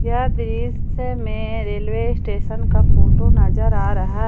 यह दृश्य में रेलवे स्टेशन का फोटो नजर आ रहा--